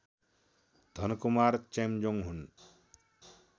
धनकुमार चेम्जोङ हुन्